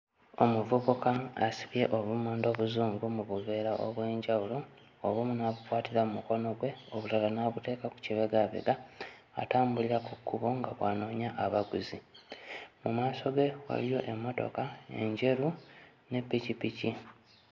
Omuvubuka asibye obumonde obuzungu mu buveera obw'enjawulo obumu n'abukwatira mmukono gwe obulala n'abuteeka ku kibegaabega, atambulira ku kkubo nga bw'anoonya abaguzi, mu maaso ge waliyo emmotoka enjeru ne ppikippiki